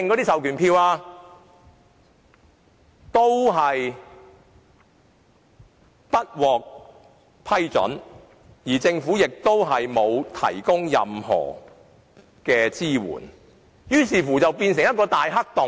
但這個要求都不獲批准，而政府亦沒有提供任何支援，問題於是便變成一個大黑洞。